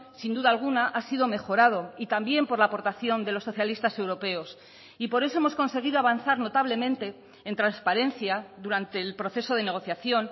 sin duda alguna ha sido mejorado y también por la aportación de los socialistas europeos y por eso hemos conseguido avanzar notablemente en transparencia durante el proceso de negociación